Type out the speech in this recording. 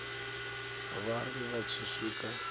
vha ri vha tshi swika